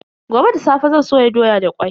Gobe da safe zan soya doya da kwai.